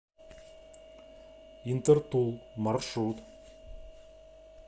интертул маршрут